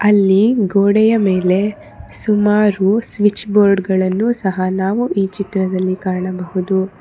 ಅಲ್ಲಿ ಗೋಡೆಯ ಮೇಲೆ ಸುಮಾರು ಸ್ವಿಚ್ ಬೋರ್ಡ್ ಗಳನ್ನು ಸಹ ನಾವು ಈ ಚಿತ್ರದಲ್ಲಿ ಕಾಣಬಹುದು.